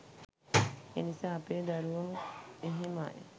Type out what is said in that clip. එනිසා අපේ දරුවනුත් එහෙමයි